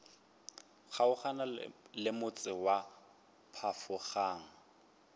kgaogana le motse wa phafogang